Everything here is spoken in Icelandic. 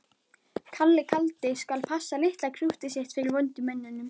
Kalli kaldi skal passa litla krúttið sitt fyrir vondu mönnunum.